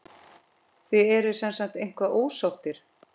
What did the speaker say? Þið eruð semsagt eitthvað ósáttir?